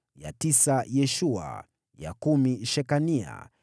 ya tisa Yeshua, ya kumi Shekania,